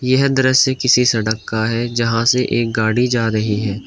यह दृश्य किसी सड़क का है जहां से एक गाड़ी जा रही है।